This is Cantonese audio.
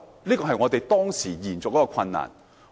這是當時延續祖業的困難。